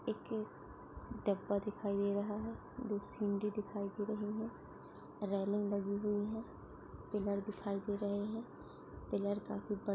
एक डब्बा दिखाई दे रहा है दो सीड़ि दिखाई दे रही है रैलिंग लगी हुई है पिलर दिखाई दे रहे है पिलर काफी बड़े--